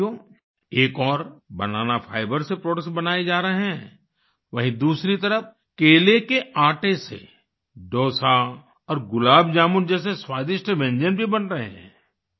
साथियो एक ओर बनाना फाइबर से प्रोडक्ट्स बनाये जा रहे हैं वहीँ दूसरी तरफ केले के आटे से डोसा और गुलाब जामुन जैसे स्वादिष्ट व्यंजन भी बन रहे हैं